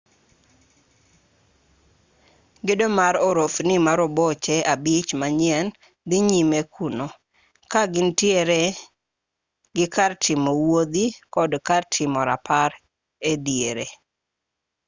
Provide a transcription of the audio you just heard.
gedo mar orofni maroboche abich manyien dhi nyime kuno ka gintiere gi kar timo wuodhi kod kar timo rapar e diere